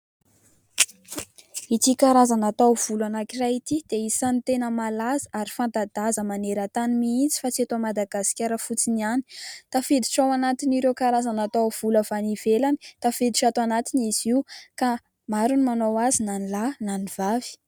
Ity karazana taovolo anankiray ity dia isany tena malaza ary fanta-daza maneran-tany mihitsy fa tsy eto Madagaskara fotsiny ihany. Tafiditra ao anatin'ireo karazana taovolo avy any ivelany tafiditra ato anatiny izy io ka maro no manao azy, na ny lahy, na ny vavy.